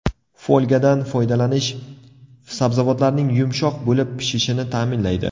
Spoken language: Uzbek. Folgadan foydalanish sabzavotlarning yumshoq bo‘lib pishishini ta’minlaydi.